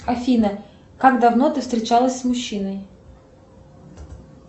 афина как давно ты встречалась с мужчиной